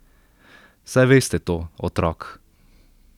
Saj veste to, otrok.